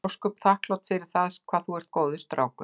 Ég er ósköp þakklát fyrir það hvað þú ert góður strákur.